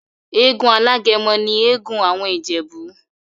Egún alágẹmọ ni egún awọn Ijebu.